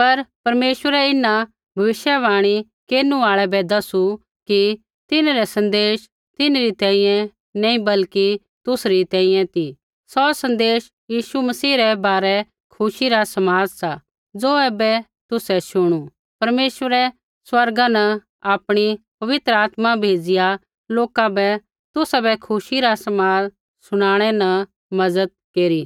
लेकिन परमेश्वरै इन्हां भविष्यवाणी केरनु आल़ै बै दसू कि तिन्हरै सन्देश तिन्हरी तैंईंयैं नैंई बल्कि तुसरी तैंईंयैं ती सौ सन्देश यीशु मसीह रै बारै खुशी रा समाद सा ज़ो ऐबै तुसै शुणु परमेश्वरै स्वर्गा न आपणी पवित्र आत्मा भेज़िया लोका बै तुसाबै खुशी रा समाद शुनाणै न मज़त केरी